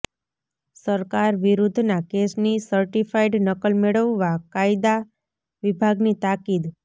સરકાર વિરુદ્ધના કેસની સર્ટિફાઈડ નકલ મેળવવા કાયદા વિભાગની તાકીદ